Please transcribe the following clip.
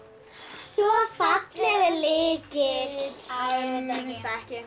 svo fallegur lykill æ mér finnst það ekki